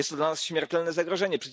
Jest to dla nas śmiertelne zagrożenie.